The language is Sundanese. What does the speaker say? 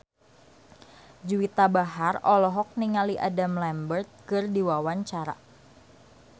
Juwita Bahar olohok ningali Adam Lambert keur diwawancara